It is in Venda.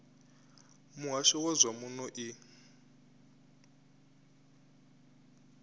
muhasho wa zwa muno i